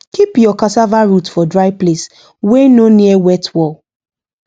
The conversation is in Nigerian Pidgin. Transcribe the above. keep your cassava root for dry place wey no near wet wall